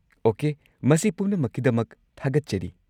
Okay, ꯃꯁꯤ ꯄꯨꯝꯅꯃꯛꯀꯤꯗꯃꯛ ꯊꯥꯒꯠꯆꯔꯤ꯫